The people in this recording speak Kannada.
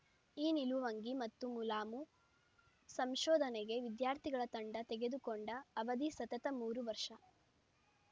ಈ ನಿಲುವಂಗಿ ಮತ್ತು ಮುಲಾಮು ಸಂಶೋಧನೆಗೆ ವಿದ್ಯಾರ್ಥಿಗಳ ತಂಡ ತೆಗೆದುಕೊಂಡ ಅವಧಿ ಸತತ ಮೂರು ವರ್ಷ